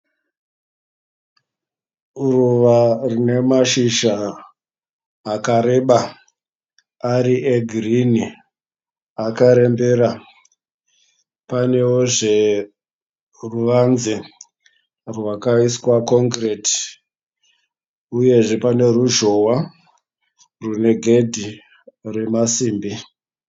Ruva rina mashizha akareba ari egirini akarembera. Paneozve ruvanze rwakaiswa kongireti uyezve pane ruzhowa rune gedhi remasimbi.